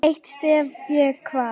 Eitt stef ég kvað.